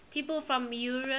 people from eure